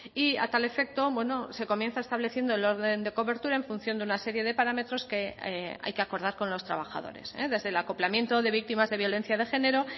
y a tal efecto se comienza estableciendo el orden de cobertura en función de una serie de parámetros que hay que acordar con los trabajadores desde el acoplamiento de víctimas de violencia de género